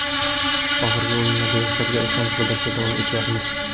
Oxirgi o‘yinlarda yoshlarga ishonch bildirishda davom etyapmiz.